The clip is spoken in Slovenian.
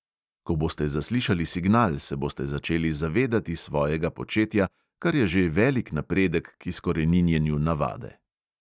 Ko boste zaslišali signal, se boste začeli zavedati svojega početja, kar je že velik napredek k izkoreninjenju navade.